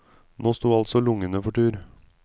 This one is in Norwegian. Nå sto altså lungene for tur.